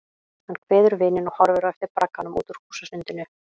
Hann kveður vininn og horfir á eftir bragganum út úr húsasundinu.